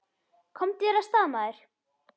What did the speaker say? Komdu þér af stað, maður!